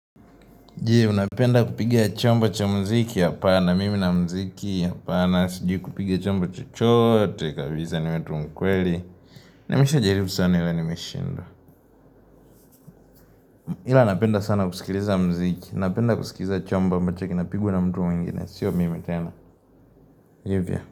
Jee, unapenda kupiga chambo cha mziki hapana, mimi na mziki hapana, sijui kupigia chambo chochote, kabisa niwe tu mkweli, nimisha jaribu sana ila nimeshindwa. Ila napenda sana kusikiliza mziki, napenda kusikiliza chambo ambacho kinapigwa na mtu mwingine, siyo mimi tena. Hivyo.